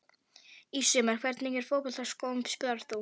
Í sumar Í hvernig fótboltaskóm spilar þú?